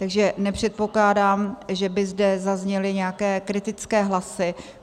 Takže nepředpokládám, že by zde zazněly nějaké kritické hlasy.